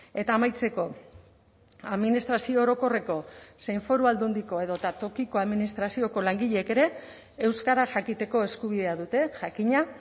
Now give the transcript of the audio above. eta amaitzeko administrazio orokorreko zein foru aldundiko edota tokiko administrazioko langileek ere euskara jakiteko eskubidea dute jakina